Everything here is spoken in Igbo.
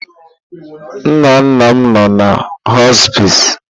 Nnanna m nno na họspịz.